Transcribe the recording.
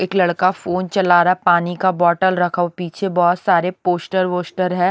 एक लड़का फोन चला रहा है पानी का बोटल रखा हुआ पीछे बहोत सारे पोस्टर वोस्टर हैं।